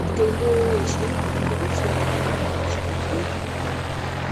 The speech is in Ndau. Mitombo yechiyungu inodetsera kuti waenda kuchibhedhlera